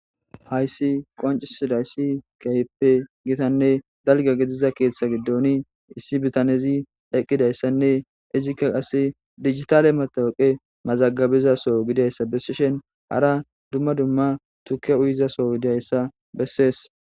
hayssi qoncisidayssi kehippe gitanne dalga gidiza keeththa giddoni issi bitanezi eqqidayssanne izikka qase digitale matooqe mazagabizaso gidayssa bessishen hara dumma dumma tukke uyizaso diyayssa bessees